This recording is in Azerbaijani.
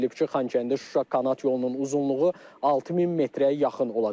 Bildirilib ki, Xankəndi-Şuşa kanat yolunun uzunluğu 6000 metrə yaxın olacaq.